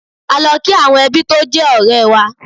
A lọ kí àwọn ẹbí tó jẹ́ ọ̀rẹ́ẹ wa.